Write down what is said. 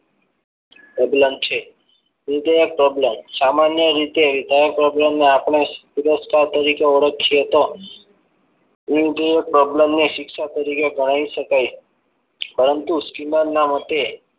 પ્રબલન છે વિધેયક પ્રબલન સામાન્ય રીતે વિધાયક પ્રબલન ને આપણે પુરસ્કાર તરીકે ઓળખીએ ત એ પ્રબલન ને શિક્ષણ તરીકે ગણાવી શકાય છે પરંતુ સ્કીનરના મતે